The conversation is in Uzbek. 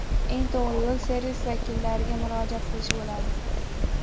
Eng to‘g‘ri yo‘l servis vakillariga murojaat qilish bo‘ladi.